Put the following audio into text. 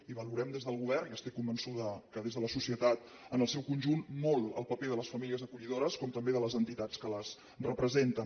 i valorem des del govern i estic convençuda que des de la societat en el seu conjunt molt el paper de les famílies acollidores com també el de les entitats que les representen